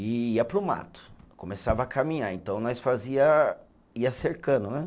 E ia para o mato, começava a caminhar, então nós fazia, ia cercando, né?